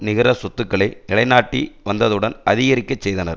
நிகர சொத்துக்களை நிலைநாட்டி வந்ததுடன் அதிகரிக்க செய்தனர்